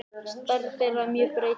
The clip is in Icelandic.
Stærð þeirra er mjög breytileg.